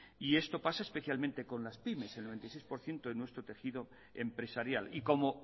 esto pasa especialmente con las pymes el veintiséis por ciento de nuestro tejido empresarial y como